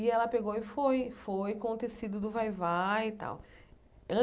E ela pegou e foi, foi com o tecido do vai-vai e tal.